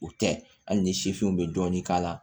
O tɛ hali ni sifinw bɛ dɔɔnin k'a la